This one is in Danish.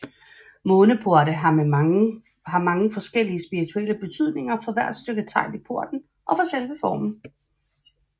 Måneporte har mange forskellige spirituelle betydninger for hvert stykke tegl i porten og for selve formen